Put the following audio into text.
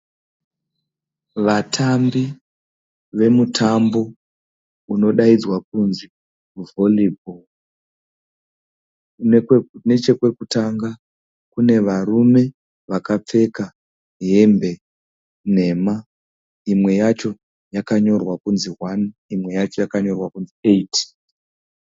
Vatambi vemutambo unodaidzwa kunzi vhori bhoro. Nechekwekutanga kune varume vakapfeka hembe nhema, imwe yacho yakanyorwa kunzi hwani, imwe yacho yakanyorwa kunzi eyiti.